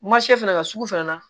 Ma se fɛnɛ ka sugu fɛnɛ na